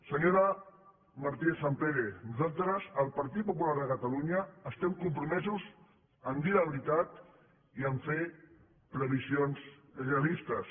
senyora martínez sampere nosaltres el partit popular de catalunya estem compromesos a dir la veritat i a fer previsions realistes